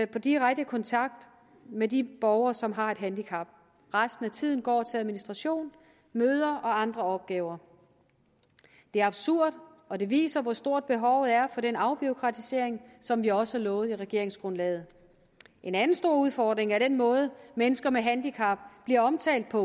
på direkte kontakt med de borgere som har et handicap resten af tiden går til administration møder og andre opgaver det er absurd og det viser hvor stort behovet er for den afbureaukratisering som vi også har lovet i regeringsgrundlaget en anden stor udfordring er den måde mennesker med handicap bliver omtalt på